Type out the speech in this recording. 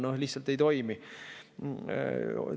No lihtsalt ei toimi!